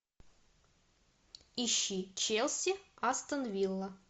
ищи челси астон вилла